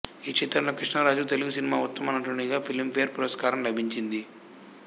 ఈ చిత్రంలో కృష్ణం రాజుకు తెలుగు సినిమాలో ఉత్తమ నటునిగా ఫిలిం ఫేర్ పురస్కారం లభించింది